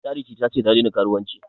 Charity ta ce ta daina karuwanci